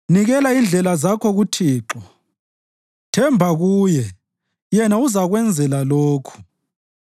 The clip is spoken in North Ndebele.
Nikela indlela zakho kuThixo; themba kuye, Yena uzakwenzela lokhu: